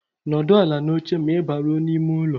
N'ọdụ ala n'oche ma ị baruo n'ime ụlọ